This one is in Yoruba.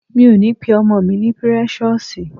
Mi ò ní pe ọmọ mi ní Precious